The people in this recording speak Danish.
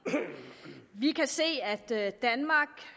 vi kan se at danmark